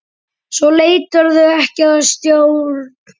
Svo létirðu ekki að stjórn.